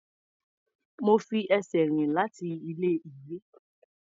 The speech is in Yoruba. Mo fi ẹsẹ̀ rìn láti ilé-ìwé.